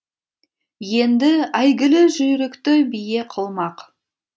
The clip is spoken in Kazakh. енді әйгілі жүйрікті бие қылмақ